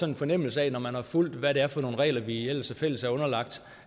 en fornemmelse af når man har fulgt hvad det er for nogle regler vi ellers fælles er underlagt